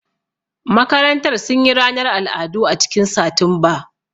Makarantar sun yi ranar al'adu a cikin Satumba